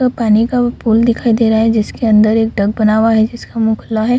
एक पानी का पुल दिखाई दे रहा है जिसके अंदर एक डक बनाया हुआ है जिसका मुंह खुला है ।